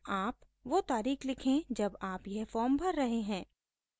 आप वो तारीख़ लिखें जब आप यह फॉर्म भर रहे हैं